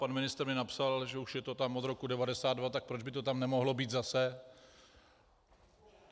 Pan ministr mi napsal, že už je to tam od roku 1992, tak proč by to tam nemohlo být zase.